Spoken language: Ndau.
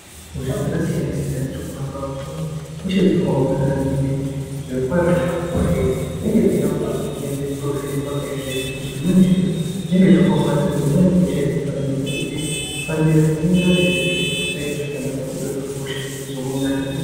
Hosha dzakasiyana siyana dziri kuhamba vantu ihosha dzakaomarara ngenyaya yokuti zvirokwazvo hosha idzi dzinenge dzichida kuti meshe titovhenekwaa kaizvezvi, ngekuti dzimweni hosha idzi zvinenge zvakaomarara, dzimweni dzehosha idzi mukanonoka kudzifambira dzinoita kuti zviro zvisaite zvakanaka kutondwe hosha yizomarara.